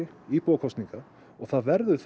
íbúakosninga og það verður